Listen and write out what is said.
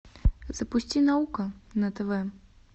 запусти наука на тв